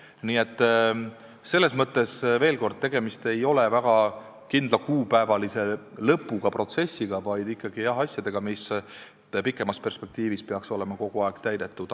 Nii et selles mõttes veel kord: tegemist ei ole väga kindlal kuupäeval lõppeva protsessiga, vaid ikkagi asjadega, mis pikemas perspektiivis peaksid olema kogu aeg täidetud.